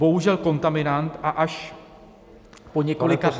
Bohužel kontaminant, a až po několika dnech -